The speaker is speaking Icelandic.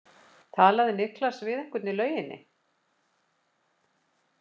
Talaði Niklas við einhvern í lauginni?